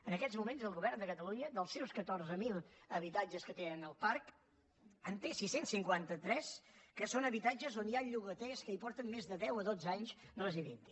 en aquests moments el govern de catalunya dels seus catorze mil habitatges que té en el parc en té sis cents i cinquanta tres que són habitatges on hi ha llogaters que porten més de deu o dotze anys residint hi